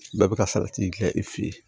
Bɛɛ bɛ ka salati gilan i fɛ yen